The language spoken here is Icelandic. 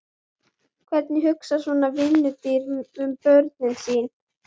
Hvernig hugsar svona vinnudýr um börnin sín?